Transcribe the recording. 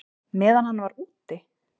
Meðan hann var úti?